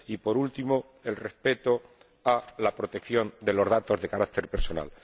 y, por último, el respeto a la protección de los datos de carácter personal.